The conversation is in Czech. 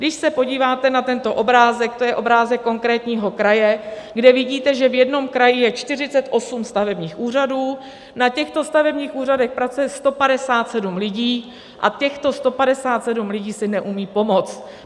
Když se podíváte na tento obrázek, to je obrázek konkrétního kraje, kde vidíte, že v jednom kraji je 48 stavebních úřadů, na těchto stavebních úřadech pracuje 157 lidí a těchto 157 lidí si neumí pomoct.